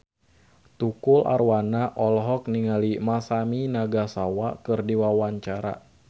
Tukul Arwana olohok ningali Masami Nagasawa keur diwawancara